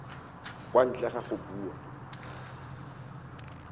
kwa ntle ga go bua